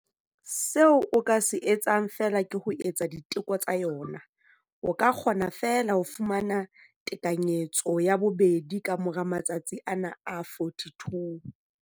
Seo o ka se etsang feela ke ho etsa diteko tsa yona. O ka kgona feela ho fumana tekanyetso ya bobedi ka mora matsatsi ana a 42.